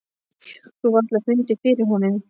Þú hefur varla fundið fyrir honum.